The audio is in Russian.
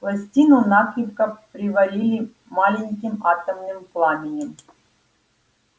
пластину накрепко приварили маленьким атомным пламенем